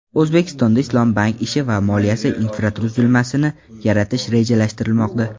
O‘zbekistonda islom bank ishi va moliyasi infratuzilmasini yaratish rejalashtirilmoqda.